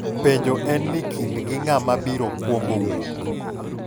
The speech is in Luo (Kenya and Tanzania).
Penjo en ni kindgi ng'ama biro kwongo wuok?